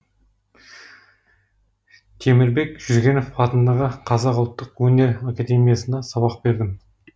темірбек жүргенов атындағы қазақ ұлттық өнер академиясында сабақ бердім